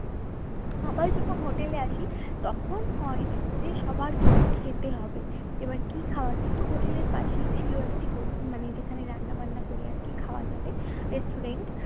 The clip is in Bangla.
সবাই যখন হোটেলে আসি তখন হয় যে সবার কিছু খেতে হবে এবার কি খাওয়া যায় তো হোটেলের পাশেই ছিল একটি হট মানে যেখানে রান্না বান্না করে আর কি খাওয়া যাবে restaurant